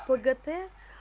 пгт